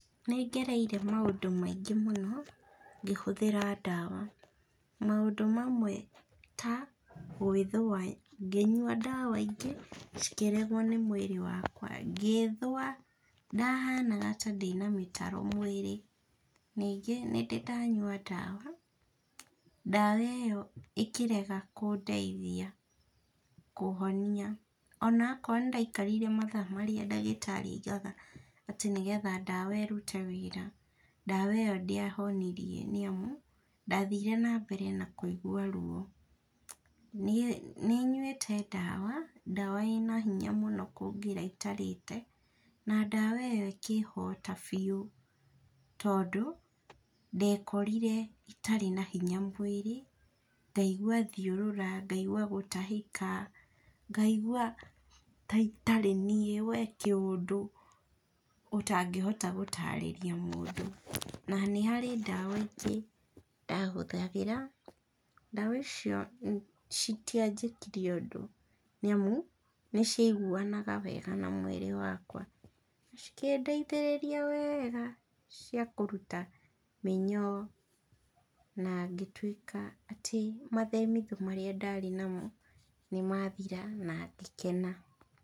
Nĩngereire maũndũ maingĩ mũno, ngĩhũthĩra ndawa. Maũndũ mamwe ta, gwĩthua ngĩnyua ndawa ingĩ, cikĩregwo nĩ mwĩrĩ wakwa, ngĩthua, ndahanaga ta ndĩna mĩtaro mwĩrĩ, ningĩ nĩndĩ ndanyua ndawa, ndawa ĩyo ĩkĩrega kũndeithia kũhonia onakorwo nĩndaikarire mathaa marĩa ndagĩtĩrĩ aigaga atĩ nĩgetha ndawa ĩrute wĩra, ndawa ĩyo ndĩahonirie nĩamu, ndathire nambere na kũigua ruo. Ni nyuĩte ndawa, ndawa ĩna hinya mũno kũngĩra itarĩte, na ndawa ĩyo ĩkĩhota biu, tondũ, ndekorire itarĩ na hinya mwĩrĩ, ngaigua thiũrũra, ngaigua gũtahĩka, ngaigua ta itarĩ nĩi we kĩũndũ ũtangĩhota gũtarĩria mũndũ, na nĩharĩ ndawa ingĩ ndahũthagĩra, ndawa icio citianjĩkire ũndũ nĩamu, nĩciaiguanaga wega na mwĩrĩ wakwa. cikĩndeithĩrĩria wega, ciakũruta mĩnyoo. Na ngĩtuĩka atĩ mathemithũ marĩa ndarĩ namo nĩmathira, na ngĩkena,